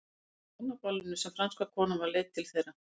Það var á hjónaballinu sem franska konan var leidd til þeirra.